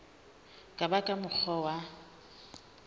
ka ba ka mokgwa wa